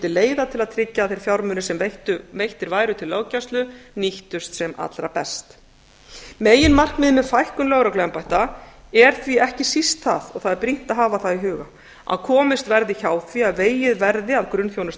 leiða til að tryggja að þeir fjármunir sem veittir væru til löggæslu nýttust sem allra best meginmarkmiðið með fækkun lögregluembætta er því ekki síst það og það er brýnt að hafa það í huga að komist verði hjá því að vegið verði að grunnþjónustu